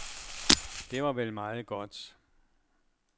Det var vel meget godt.